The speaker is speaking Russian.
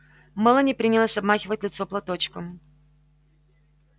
мелани принялась обмахивать лицо платочком